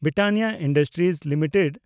Britannia industries limited